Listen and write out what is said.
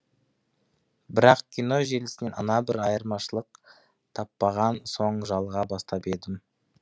бірақ кино желісінен ана бір айырмашылық таппаған соң жалыға бастап едім